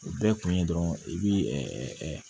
O bɛɛ kun ye dɔrɔn i bi